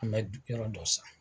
An mɛ yɔrɔ dɔ san.